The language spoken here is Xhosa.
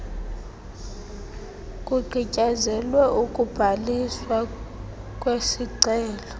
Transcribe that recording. kugqityezelwe ukubhaliswa kwesicelo